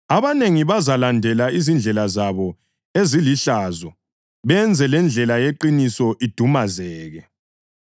Abanengi bazalandela izindlela zabo ezilihlazo benze lendlela yeqiniso idumazeke.